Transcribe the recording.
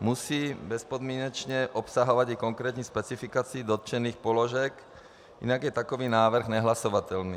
musí bezpodmínečně obsahovat i konkrétní specifikaci dotčených položek, jinak je takový návrh nehlasovatelný.